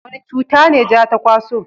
wani cuta ne ja ta kwaso?